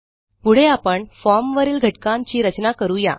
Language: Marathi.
पुढे आपण formवरील घटकांची रचना करू या